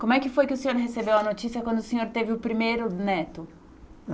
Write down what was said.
Como é que foi que o senhor recebeu a notícia quando o senhor teve o primeiro neto?